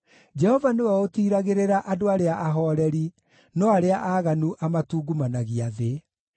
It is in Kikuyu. Jehova nĩwe ũtiiragĩrĩra andũ arĩa ahooreri, no arĩa aaganu amatungumanagia thĩ.